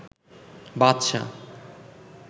বাদশা